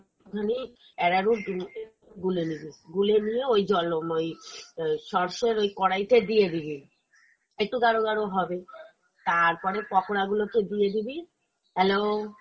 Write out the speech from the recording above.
একটু খানি arrowroot উম গুলে নিবি, গুলে নিয়ে ওই জল উম ওই অ্যাঁ sauce এর ওই কড়াই তে দিয়ে দিবি। একটু গাঢ় গাঢ় হবে, তারপরে পকোড়া গুলে কে দিয়ে দিবি। hello!